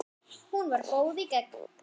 Hún var góð í gegn.